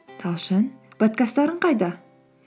талшын подкасттарын қайда